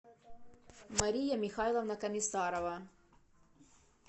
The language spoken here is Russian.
мария михайловна комиссарова